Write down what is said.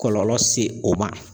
Kɔlɔlɔ se o ma.